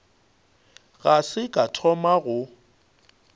ga se ka thoma go